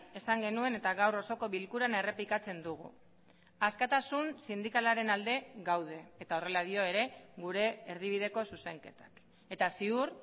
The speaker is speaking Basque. esan genuen eta gaur osoko bilkuran errepikatzen dugu askatasun sindikalaren alde gaude eta horrela dio ere gure erdibideko zuzenketak eta ziur